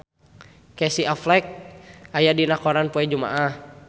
Casey Affleck aya dina koran poe Jumaah